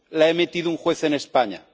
la ha emitido un juez en España.